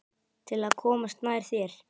Til að komast nær þér.